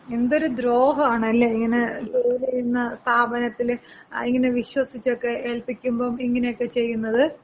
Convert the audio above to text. എന്തൊര് ദ്രോഹാണല്ലേ, ഇങ്ങനെ ജോലി ചെയ്യുന്ന സ്ഥാപനത്തില്‍ ഇങ്ങനെ വിശ്വസിച്ചക്കെ ഏൽപ്പിക്കുമ്പം ഇങ്ങനെയൊക്കെ ചെയ്യ്ന്നത്.